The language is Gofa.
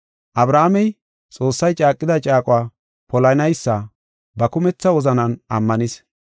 Abrahaamey, Xoossay caaqida caaquwa polanaysa ba kumetha wozanan ammanis.